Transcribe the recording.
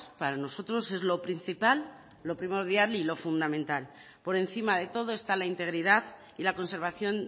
para nosotros es lo principal lo primordial y lo fundamental por encima de todo está la integridad y la conservación